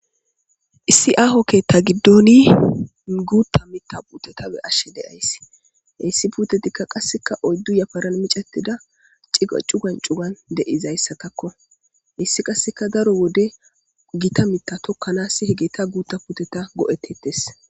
Issi aho keeththa giddoni guththa miththa putteta beashe deayisi okkanas hesi putetikka qase oyidu yafaran miccetida cugani cugani deizayisatakko hesi qase daro Wode gita miththa tokanas gashe miththa putteta goetidees